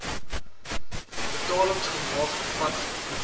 betalings gemaak vanaf